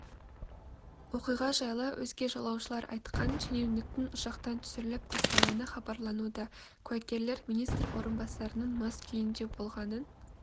оқиға жайлы өзге жолаушылар айтқан шенеуніктің ұшақтан түсіріліп тастағаны хабарлануда куәгерлер министр орынбасарының мас күйінде болғанын